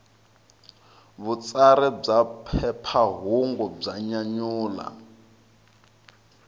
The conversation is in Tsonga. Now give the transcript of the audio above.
vutsari bya phephahungu bya nyanyula